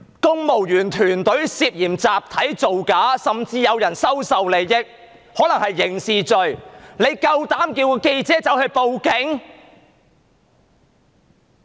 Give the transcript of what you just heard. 公務員團隊涉嫌集體造假，甚至有人收受利益，可能涉及刑事行為，你們卻請記者報警。